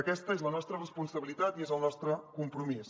aquesta és la nostra responsabilitat i és el nostre compromís